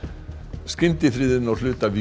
skyndifriðun á hluta